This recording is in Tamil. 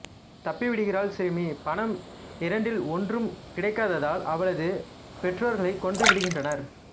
தப்பிவிடுகிறாள் சிறுமி பணம் இரண்டில் ஒன்றும் கிடைக்காததால் அவளது பெற்றோரைக் கொன்றுவிடுகின்றனர்